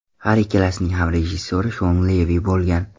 Har ikkalasining ham rejissyori Shon Levi bo‘lgan.